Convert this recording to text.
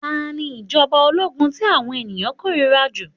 Ta ni ìjọ̀ba ológun tí àwọn ènìyàn kórìíra jù?